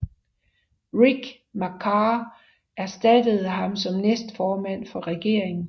Riek Machar erstattede ham som næstformand for regeringen